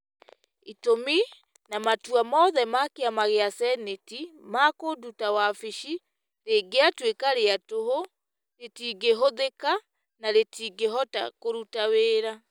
Itũmi na matua mothe ma kĩama gĩa Seneti ma kũnduta wabici rĩgĩtuĩka rĩa tũhũ, rĩtingĩhũthĩka na rĩtingĩhota kũruta wĩra.